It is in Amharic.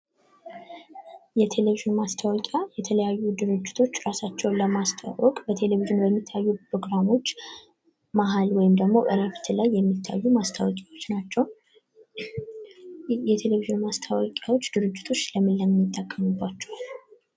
የቴሌቭዥን ማስታወቂያ የተለያዩ ድርጅቶች ራሳቸውን ለማስተዋወቅ በቴሌቭዥን በሚታዩ ፕሮግራሞች መሃል ወይም እረፍት ላይ የሚታዩ ማስታወቂያዎች ናቸው። የቴሌቭዥን ማስታወቂያዎች ድርጅቶች ለምን ለምን ይጠቀሙባቸዋል?